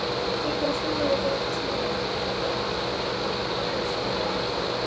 Frekari fróðleikur á Vísindavefnum: Hvernig er hægt að finna hvaða efni eru í miðju jarðar?